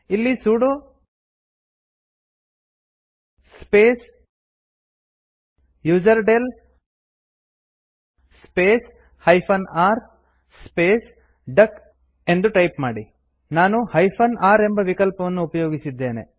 ಇಲ್ಲಿ sudo space userdel space -r space duck ಎಂದು type ಮಾಡಿ ನಾನು r ಎಂಬ ವಿಕಲ್ಪವನ್ನು ಉಪಯೋಗಿಸಿದ್ದೇನೆ